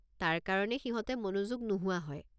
তাৰ কাৰণে সিহঁতে মনোযোগ নোহোৱা হয়।